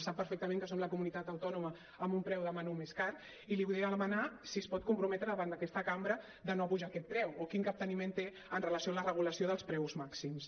sap perfectament que som la comunitat autònoma amb un preu de menú més car i li volia demanar si es pot comprometre davant d’aquesta cambra de no apujar aquest preu o quin capteniment té amb relació a la regulació dels preus màxims